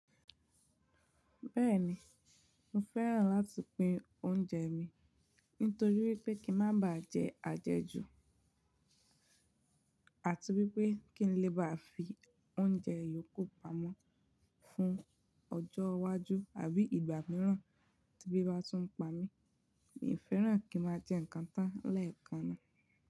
Bẹ́ẹ̀ni, mo fẹ́ràn láti pín oúnjẹ mi nítorí wípé kí n má baà jẹ àjẹjù àti wípé kí n lè bá fi oúnjẹ yòókù pamọ́ fún ọjọ́ iwájú àbí ìgbà mìíràn tí ebí bá tún ń pa mí, mi ò fẹ́ràn kí ń má jẹ ǹkan tán lẹ́ẹ̀kan náà.